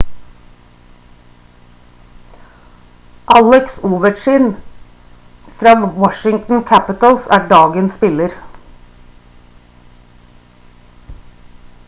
alex ovechkin fra washington capitals er dagens spiller